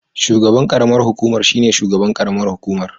Shugaban karamar hukumar shine shugaban karamar hukumar